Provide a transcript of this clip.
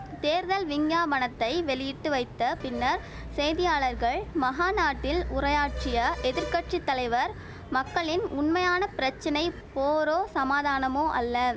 தேர்தல் விஞ்ஞாபனத்தை வெளியிட்டு வைத்த பின்னர் செய்தியாளர்கள் மகாநாட்டில் உரையாற்றிய எதிர் கட்சி தலைவர் மக்களின் உண்மையான பிரச்சனை போரோ சமாதானமோ அல்ல